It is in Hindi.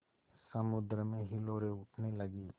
समुद्र में हिलोरें उठने लगीं